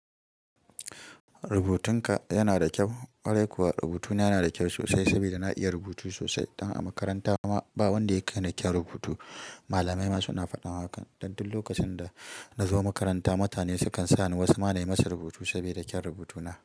Rubutun ka yana da kyau. Kwarai kuwa rubutuna yana da kyau sosai saboda na iya rubutu sosai. Dan a makaranta ma ba wanda ya kai ni kyau rubutu. Malamai ma suna fadan haka. Dan duk lokacin da na zo makaranta mutane sukan sa ni wasu ma na yi musu rubutu saboda kyaun rubutuna.